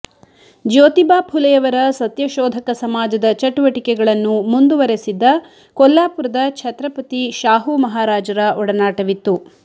ಜ್ಯೋತಿಬಾ ಫುಲೆಯವರ ಸತ್ಯಶೋಧಕ ಸಮಾಜದ ಚಟುವಟಿಕೆಗಳನ್ನು ಮುಂದುವರೆಸಿದ್ದ ಕೊಲ್ಲಾಪುರದ ಛತ್ರಪತಿ ಶಾಹುಮಹಾರಾಜರ ಒಡನಾಟವಿತ್ತು